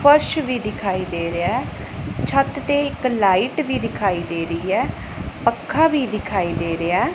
ਫਰਸ਼ ਵੀ ਦਿਖਾਈ ਦੇ ਰਿਹਾ ਛੱਤ ਤੇ ਇੱਕ ਲਾਈਟ ਵੀ ਦਿਖਾਈ ਦੇ ਰਹੀ ਹੈ ਪੱਖਾ ਵੀ ਦਿਖਾਈ ਦੇ ਰਿਹਾ।